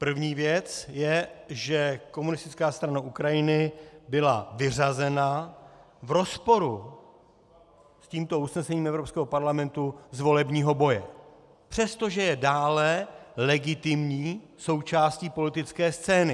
První věc je, že Komunistická strana Ukrajiny byla vyřazena v rozporu s tímto usnesením Evropského parlamentu z volebního boje, přestože je dále legitimní součástí politické scény.